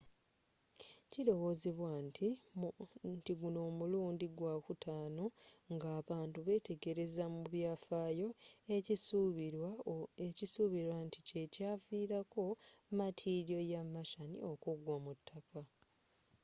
kilowezebwa nti guno mulundi gwa kutano ng'abantu betegelezza mu byafayo ekisubilwa ntikyekyavilako matiliyo ya martian okuggwa ku taka